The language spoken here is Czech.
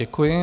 Děkuji.